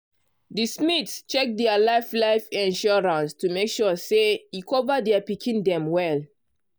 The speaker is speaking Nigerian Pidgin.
de smiths check dia life life insurance to make sure say e cover dia pikin dem well.